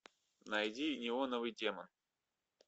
найди неоновый демон